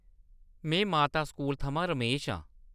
में माता स्कूल थमां रमेश आं।